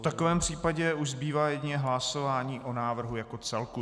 V takovém případě už zbývá jedině hlasování o návrhu jako celku.